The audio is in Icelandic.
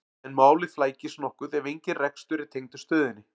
en málið flækist nokkuð ef engin rekstur er tengdur stöðinni